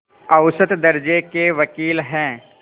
औसत दर्ज़े के वक़ील हैं